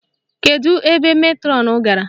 Kedu ebe metrọnụ gara?